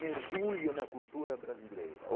Mergulha na cultura brasileira